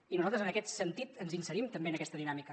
i nosaltres en aquest sentit ens inserim també en aquesta dinàmica